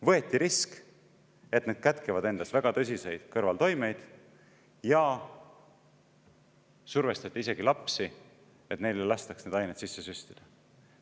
Võeti risk, kuigi need kätkevad endas väga tõsiseid kõrvaltoimeid, ja survestati isegi lapsi, et neile lastaks neid aineid sisse süstida.